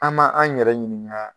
An' ma an' yɛrɛ ɲiniŋa